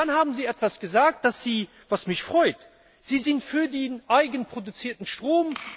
Und dann haben Sie etwas gesagt, was mich freut Sie sind für den eigenproduzierten Strom.